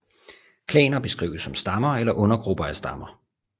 Klaner kan beskrives som stammer eller undergrupper af stammer